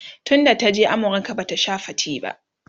tun da ta je amurka Bata Sha fate ba